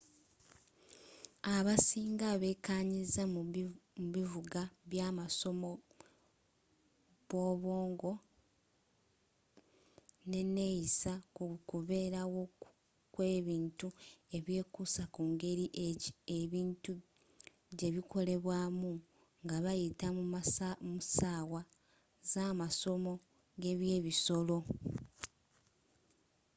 abasiinga beekanyiza mu bivuga byabasomi bwobwongo neneeyisa kukubeerawo kwebintu ebyekuusa ku ngeri ebintu gyebikolebwamu ngabayita mu ssaawa zamasomo gebyebisolo